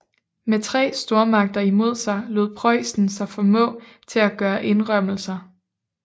Med tre stormagter imod sig lod Preussen sig formå til at gøre indrømmelser